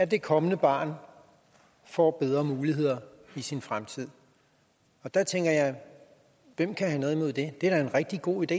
det kommende barn får bedre muligheder i sin fremtid der tænker jeg hvem kan have noget imod det det er da en rigtig god idé